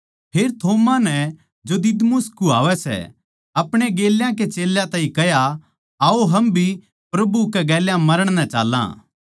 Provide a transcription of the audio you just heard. फेर थोमा नै जो दिदुमुस कुह्वावै सै अपणे गेल्या के चेल्यां ताहीं कह्या आओ हम भी प्रभु कै गेल्या मरण नै चाल्लां